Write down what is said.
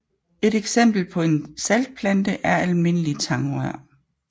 Et eksempel på en saltplante er Almindelig Tagrør